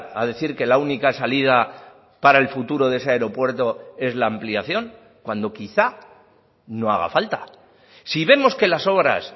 a decir que la única salida para el futuro de ese aeropuerto es la ampliación cuando quizá no haga falta si vemos que las obras